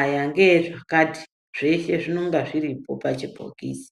Ayaa ngeezvakati. Zveshe zvinonga zviri po pachibhokisi.